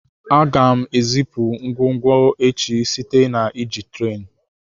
Aga m ezipu ngwongwo echi site na iji tren.